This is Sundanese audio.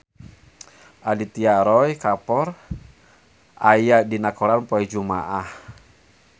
Aditya Roy Kapoor aya dina koran poe Jumaah